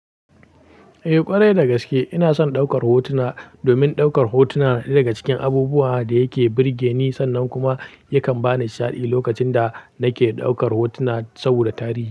Eh ƙwarai dagaske, ina son ɗaukar hotuna. Domin ɗaukar hotuna na ɗaya daga cikin abubuwa da yake burge ni. Sannan kuma yakan bani sha'adi lokacin da nake ɗaukar hotuna saboda tarihi.